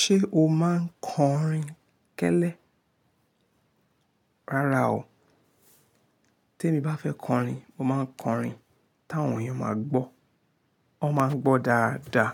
Ṣé o máa ń kọrin kẹ́lẹ́? Rárá o, tí èmi bá fẹ́ kọrin, mo máa ń kọrin táwọn èèyàn máa gbọ́. Wọ́n máa ń gbọ́ dáadáa.